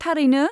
थारैनो?